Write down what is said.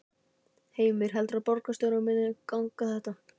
Heimir: Heldurðu að borgarstjóranum muni ganga þetta?